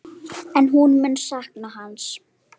En hún mun sakna hans.